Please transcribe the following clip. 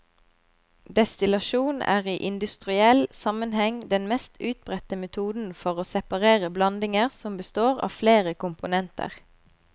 Destillasjon er i industriell sammenheng den mest utbredte metoden for å separere blandinger som består av flere komponenter.